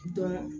Dɔn